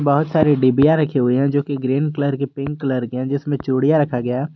बहुत सारी डिब्बियाँ रखी हुई हैं जो कि ग्रीन कलर की पिंक कलर की हैं जिसमें चूड़ियां रखा गया।